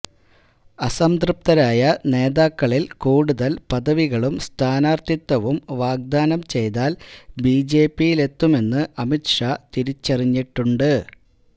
അസംതൃപ്തരായ നേതാക്കള് കൂടുതല് പദവികളും സ്ഥാനാര്ത്ഥിത്വവും വാഗ്ദാനം ചെയ്താല് ബിജെപിയിലെത്തുമെന്ന് അമിത് ഷാ തിരിച്ചറിഞ്ഞിട്ടുണ്ട്